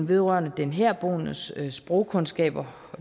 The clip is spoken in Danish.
vedrørende den herboendes sprogkundskaber